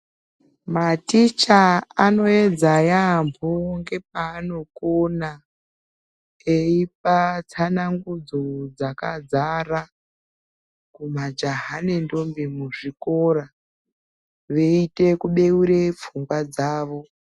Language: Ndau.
Maticha ano yedza yambo nge paano kona eipa tsanangudzo dzaka dzara kuma jaha ne ndombi mu zvikora veite kubeure pfungwa dzavo.